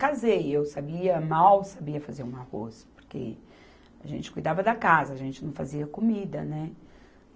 Casei, eu sabia, mal sabia fazer um arroz, porque a gente cuidava da casa, a gente não fazia comida, né?